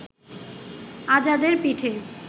আজাদের পিঠে